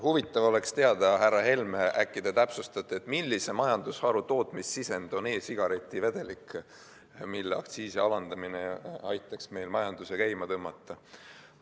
Huvitav oleks teada, härra Helme, äkki te täpsustate, millise majandusharu tootmissisend on e-sigareti vedelik, mille aktsiisi langetamine aitaks meil majanduse käima tõmmata.